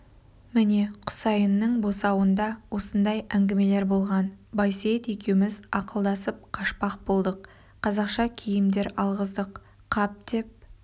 міне құсайынның босауында осындай әңгімелер болған байсейіт екеуміз ақылдасып қашпақ болдық қазақша киімдер алғыздық қап деп